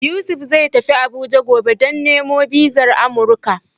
Yusuf zai tafi Abuja gobe, don nemo bizar Amuruka.